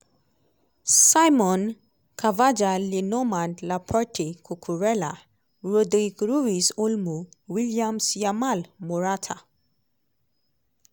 simon; carvajal le normand laporte cucurella; rodri ruiz olmo; williams yamal morata.